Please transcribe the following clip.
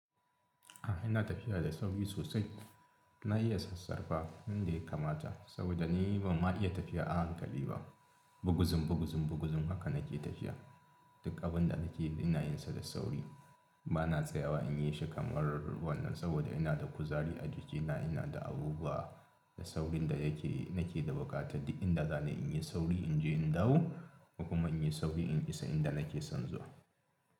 A'a ina tafiya da sauri sosai. Na iya sassarfa yanda ya kamata saboda ni bamma iya tafiya a hankali ba. Buguzun buguzun buguzun haka nake tafiya. Duk abin da nake yi ina yinsa da sauri. Ba na tsayawa in yi shi kamar wannan saboda ina da kuzari a jikina ina da abubuwa da saurin da yake nake da buƙata duk inda zani in yi sauri inje in dawo kuma in yi sauri in isa inda nake son zuwa.